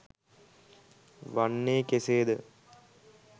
වන්නේ කෙසේද?